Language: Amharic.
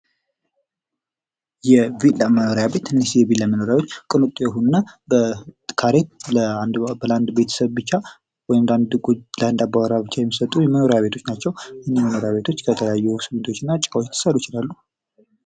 የቪላ መኖሪያ ቤት ትንሽየ ቪላ መኖሪያ ቤት ቅንጡ የሆኑ እና ካሬ በአንድ ቤህ ዉስጥ ለአንድ ብቻ ወይም ለአንድ አባራ ብቻ የሚምጡ መኖሪያ ቤቶች ናቸዉ። መኖሪያ ቤቶች ከተለያዩ ስሚንቶዎች እና ጭቃዎች ሊሰሩ ይችላሉ።